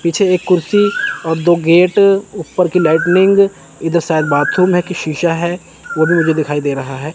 पीछे एक कुर्सी और दो गेट ऊपर की लाइटनिंग इधर शायद बाथरूम है की शीशा है वो भी मुझे दिखाई दे रहा है।